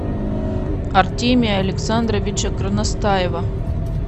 артемия александровича горностаева